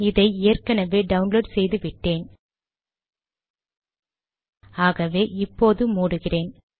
இதை ஏற்கனவே டவுன்லோட் செய்து விட்டேன் ஆகவே இப்போது மூடுகிறேன்